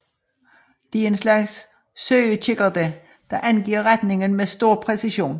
De er en slags søgekikkerter der angiver retningen med stor præcision